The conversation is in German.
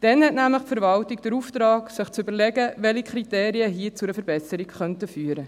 Dann hat nämlich die Verwaltung den Auftrag, sich zu überlegen, welche Kriterien hier zu einer Verbesserung führen könnten.